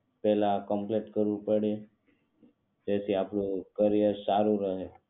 પહેલા આ કમ્પ્લીટ કરવું પડે જેથી આપણું કરિયર સારું રહે